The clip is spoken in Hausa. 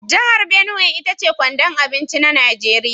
Jihar Binuwai ita ce kwandon abinci na Nigeriya.